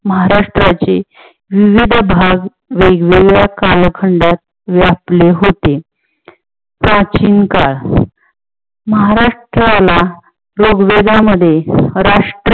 महाराष्ट्राचे विविध भाग वेगवेगळ्या कालखंडात व्यापले होते. प्राचीन काळ महाराष्ट्राला ऋग्वेदा मध्ये राष्ट्र